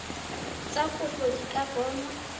tsa kopo di ka bonwa